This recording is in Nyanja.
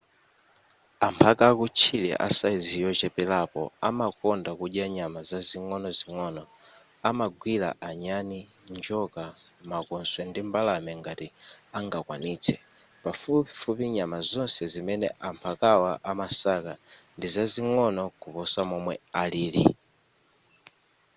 amphaka akutchire asayizi yocheperako amakonda kudya nyama zing'onozing'ono amagwira anyani njoka makoswe ndi mbalame ngati angakwanitse pafupifupi nyama zonse zimene amphakawa amasaka ndizazing'ono kuposa momwe alili